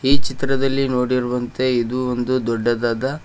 ಈ ಚಿತ್ರದಲ್ಲಿ ನೋಡಿರುವಂತೆ ಇದು ಒಂದು ದೊಡ್ಡದಾದ--